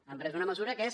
han pres una mesura que és